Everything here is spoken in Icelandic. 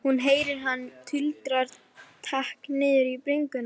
Hún heyrir að hann tuldrar takk niður í bringuna.